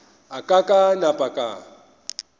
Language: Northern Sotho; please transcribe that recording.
a ka ka napa ka